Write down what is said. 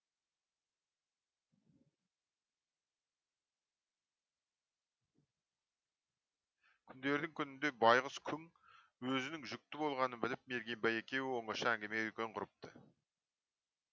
күндердің күнінде байқұс күң өзінің жүкті болғанын біліп мергенбай екеуі оңаша әңгіме дүкен құрыпты